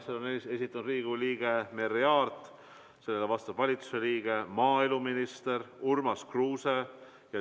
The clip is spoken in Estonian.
Selle on esitanud Riigikogu liige Merry Aart, vastab valitsuse liige maaeluminister Urmas Kruuse.